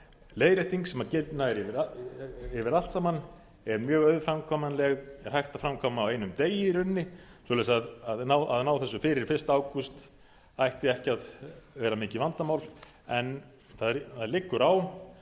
leiðrétting sem nær yfir allt saman er mjög auðframkvæmanleg og hægt að framkvæma á einum degi í rauninni svoleiðis að ná þessu fyrir fyrsta ágúst ætti ekki að vera mikið vandamál en það liggur á